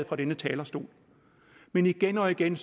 fra denne talerstol men igen og igen